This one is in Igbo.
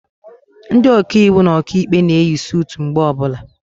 Ndị Ọkaiwu na Ọkaikpe na eyi sutu mgbe ọbụla